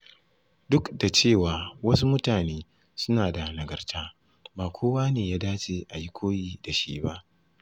Duk da cewa wasu mutane suna da nagarta, ba kowa ne ya dace a yi koyi da shi ba.